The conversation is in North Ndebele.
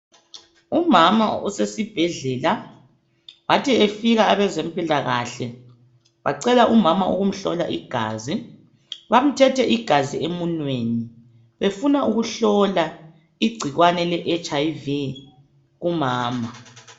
Umama usesibhedlela, bathi befika abezempilakahle bacela umama ukumhlola igazi. Bamthethe igazi emunweni befuna ukuhlola igcikwane leHIV kumama.